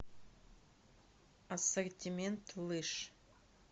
ассортимент лыж